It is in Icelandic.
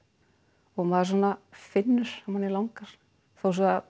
og maður svona finnur að mannig langar þó svo